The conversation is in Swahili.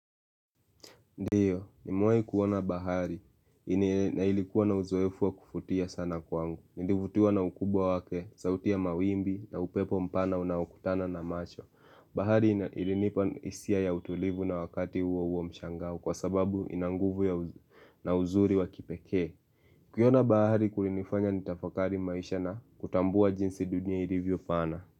Ndio, nimewahi kuona bahari na ilikuwa na uzoefu wa kuvutia sana kwangu. Nilivutiwa na ukubwa wake, sauti ya mawimbi na upepo mpana unaokutana na macho. Bahari ilinipa hisia ya utulivu na wakati huo huo mshangao kwa sababu ina nguvu na uzuri wa kipekee. Kuiona bahari kulinifanya nitafakari maisha na kutambua jinsi dunia ilivyo pana.